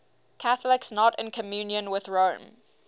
catholics not in communion with rome